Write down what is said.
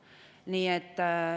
Järgnevalt Helle-Moonika Helme, palun!